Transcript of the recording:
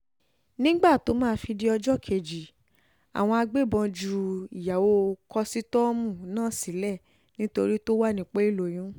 nígbà tó máa fi di ọjọ́ kejì àwọn agbébọ̀n ju ìyàwó kọ́sítọ́ọ̀mù náà sílẹ̀ nítorí tó wà nípò ìlóyún